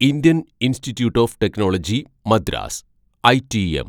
Indian Institute of Technology Madras (ഐടിഎം)